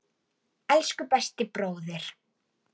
Minning hans lifir.